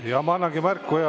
Jaa, ma annangi märku ja …